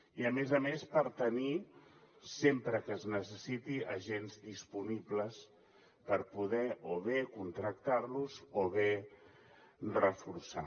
i a més a més per tenir sempre que es necessiti agents disponibles per poder o bé contractar los o bé reforçar